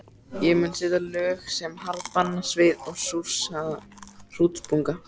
Ég mun setja lög sem harðbanna svið og súrsaða hrútspunga.